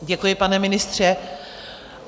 Děkuji, pane ministře.